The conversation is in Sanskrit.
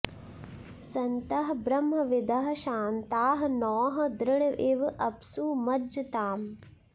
सन्तः ब्रह्मविदः शान्ताः नौः दृढ इव अप्सु मज्जताम्